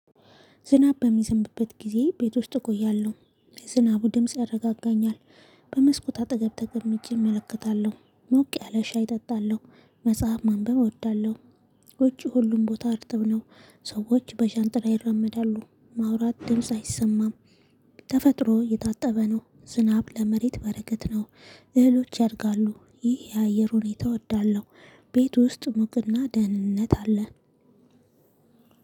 ዝናብ በሚዘንብበት ጊዜ ቤት ውስጥ እቆያለሁ የዝናቡ ድምጽ ያረጋጋኛል በመስኮት አጠገብ ተቀምጬ እመለከታለሁ። ሞቅ ያለ ሻይ እጠጣለሁ። መጽሐፍ ማንበብ እወዳለሁ። ውጪ ሁሉም ቦታ አርጥብ ነው ሰዎች በሻንጥላ ይራመዳሉ ማውራት ድምጽ አይሰማም ተፈጥሮ እየታጠበ ነው። ዝናብ ለመሬት በረከት ነው። እህሎች ያድጋሉ። ይህ የአየር ሁኔታ እወዳለሁ ቤት ውስጥ ሙቅና ደህንነት አለ